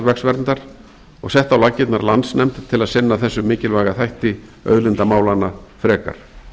jarðvegsverndar og sett á laggirnar landsnefnd til að sinna þessum mikilvæga þætti auðlindamálanna frekar